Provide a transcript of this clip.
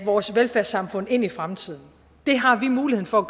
vores velfærdssamfund ind i fremtiden det har vi muligheden for at